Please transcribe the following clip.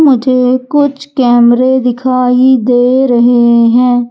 मुझे कुछ कैमरे दिखाई दे रहे हैं।